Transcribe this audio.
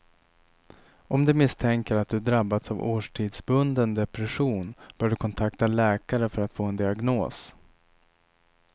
Om du misstänker att du drabbats av årstidsbunden depression bör du kontakta läkare för att få en diagnos.